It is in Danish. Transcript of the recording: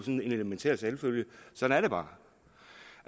en elementær selvfølge sådan er det bare